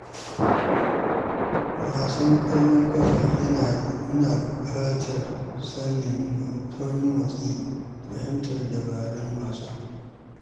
Wasan ƙwallon ƙafa yana buƙatar saurin motsi da fahimtar dabarun wasa.